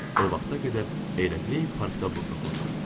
O vaxta qədər elə heyp parkda burnu oxurdum.